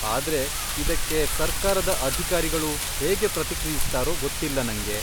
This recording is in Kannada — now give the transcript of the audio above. ಆದ್ರೆ ಇದಕ್ಕೆ ಸರ್ಕಾರದ ಅಧಿಕಾರಿಗಳು ಹೇಗೆ ಪ್ರತಿಕ್ರಿಯಿಸ್ತಾರೋ ಗೊತ್ತಿಲ್ಲ ನಂಗೆ.